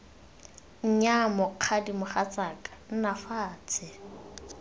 nnyaya mokgadi mogatsaka nna fatshe